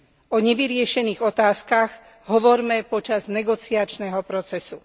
O nevyriešených otázkach hovorme počas negociačného procesu.